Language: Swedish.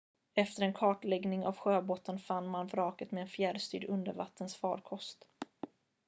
efter en kartläggning av sjöbotten fann man vraket med en fjärrstyrd undervattensfarkost